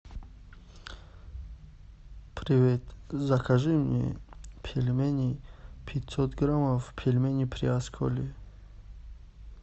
привет закажи мне пельмени пятьсот грамм пельмени приосколье